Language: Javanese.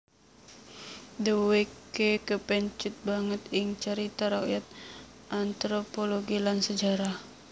Dheweke kepencut banget ing carita rakyat anthropologi lan sejarah